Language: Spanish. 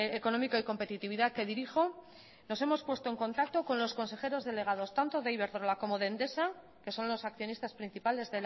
económico y competitividad que dirijo nos hemos puesto en contacto con los consejeros delegados tanto de iberdrola como de endesa que son los accionistas principales